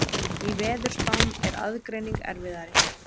Í veðurspám er aðgreining erfiðari.